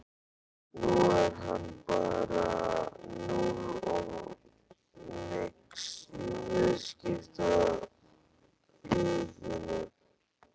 Nú er hann bara núll og nix í viðskiptalífinu!